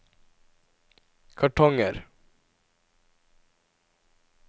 kartonger